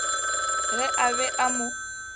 ge a be a mo